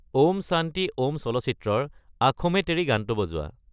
ওম শান্তি ওম চলচ্চিত্ৰৰ আখোঁ মে তেৰি গানটো বজোৱা